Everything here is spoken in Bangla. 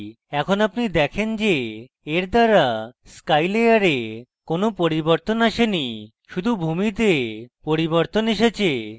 এখন আপনি দেখেন যে এর দ্বারা sky layer কোনো পরিবর্তন আসেনি শুধু ভূমিতে পরিবর্তন এসেছে